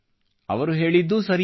ಅವರು ಹೇಳಿದ್ದೂ ಸರಿಯೇ